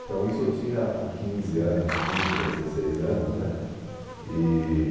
Então, isso eu tinha quinze anos, quinze para dezesseis anos, né?